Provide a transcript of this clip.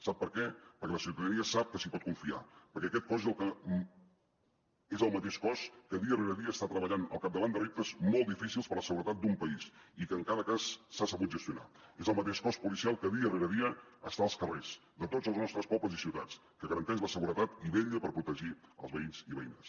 sap per què perquè la ciutadania sap que s’hi pot confiar perquè aquest cos és el mateix cos que dia rere dia està treballant al capdavant de reptes molt difícils per la seguretat d’un país i que en cada cas s’ha sabut gestionat és el mateix cos policial que dia rere dia està als carrers de tots els nostres pobles i ciutats que garanteix la seguretat i vetlla per protegir els veïns i veïnes